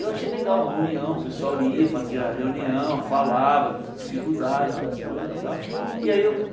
Eu achei legal, a união, o pessoal ia, fazia reunião, falava das dificuldades, das coisas e tal. E aí eu